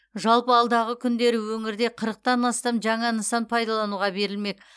жалпы алдағы күндері өңірде қырықтан астам жаңа нысан пайдалануға берілмек